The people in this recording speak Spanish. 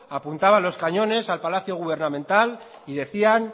apuntaba los cañones al palacio gubernamental y decían